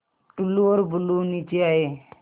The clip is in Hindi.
टुल्लु और बुल्लु नीचे आए